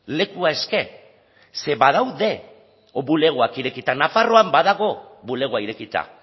lekua eske ze badaude bulegoak irekita nafarroan badago bulegoa irekita